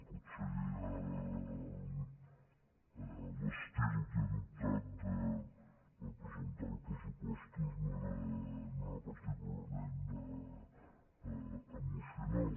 potser l’estil que he adoptat per presentar els pressupostos no era particularment emocional